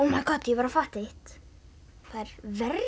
var að fatta eitt það er verra